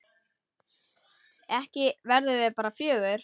Ekki verðum við bara fjögur?